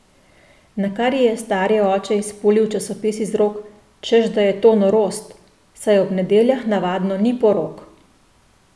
Nakar ji je stari oče izpulil časopis iz rok, češ da je to norost, saj ob nedeljah navadno ni porok.